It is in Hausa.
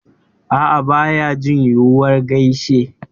A'a, baya jin yunwar geisha